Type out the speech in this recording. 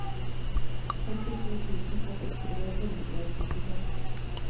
sekstito tusen åtte hundre og syttifem